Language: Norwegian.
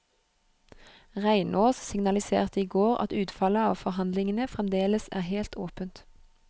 Reinås signaliserte i går at utfallet av forhandlingene fremdeles er helt åpent.